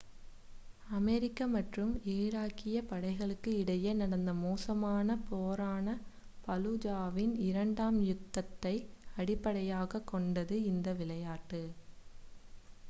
America மற்றும் ஈராக்கிய படைகளுக்கு இடையே நடந்த மோசமான போரான ஃபலூஜாவின் இரண்டாம் யுத்தத்தை அடிப்படையாக கொண்டது இந்த விளையாட்டு